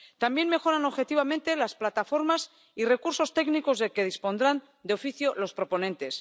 Y asimismo que se mejoren objetivamente las plataformas y recursos técnicos de que dispondrán de oficio los proponentes.